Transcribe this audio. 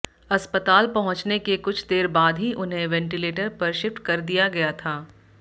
अस्पताल पहुंचने के कुछ देर बाद ही उन्हें वेंटिलेटर पर शिफ्ट कर दिया गया था